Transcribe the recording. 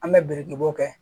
An bɛ biriki bɔ